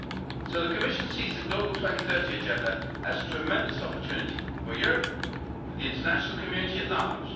So the Commission sees the global 2030 Agenda as a tremendous opportunity for Europe, for the international community at large.